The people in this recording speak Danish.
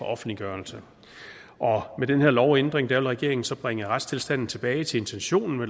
offentliggørelse med den her lovændring vil regeringen så bringe retstilstanden tilbage til intentionen